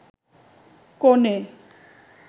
কনে